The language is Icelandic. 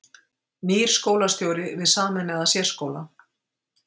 Nýr skólastjóri við sameinaðan sérskóla